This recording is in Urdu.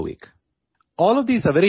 یہ سب شطرنج کے لیے بہت اہم ہیں